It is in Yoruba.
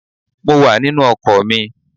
Mo wà nínú ọkọ̀ mi